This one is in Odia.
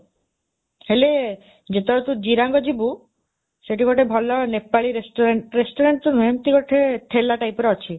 ହେଲେ, ଯେତେବେଳେ ତୁ ଜିରାଙ୍ଗ ଯିବୁ, ସେଠି ଗୋଟେ ଭଲ ନେପାଳି restaurant, restaurant ତ ନୁହେଁ, ଏମିତି ଗୋଟେ ଠେଲା typeର ଅଛି,